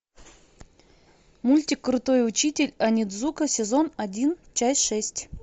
мультик крутой учитель онидзука сезон один часть шесть